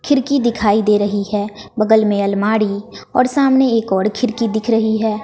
खिरकी दिखाई दे रही है बगल में अलमाड़ी औड़ सामने एक औड़ खिरकी दिख रही है।